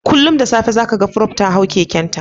Kullum da safe za ka ga Prof. ta hau kekenta